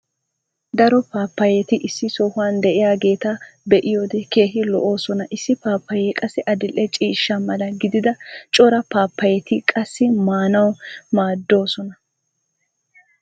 Daro paapayeti isso sohuwan diyaageeta be'iyode keehi lo'oosona. Issi paapayee qasi adil'e ciishsha mala gididda cora paapayetti qassi maanawu maadoosona.